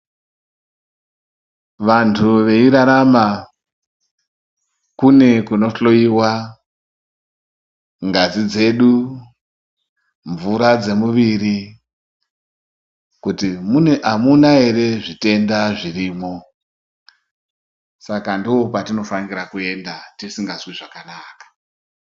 Vantu veirarama kune kunohloyiwa ngazi dzedu ,mvura dzemuviri kuti amuna ere zvitenda zvirimo, saka ndokwatinofanire kuenda kana tisingazwi zvakanaka.